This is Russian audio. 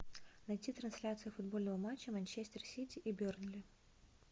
найти трансляцию футбольного матча манчестер сити и бернли